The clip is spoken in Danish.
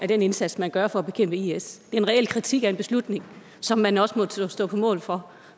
den indsats man gør for at bekæmpe i is det en reel kritik af en beslutning som man også må stå på mål for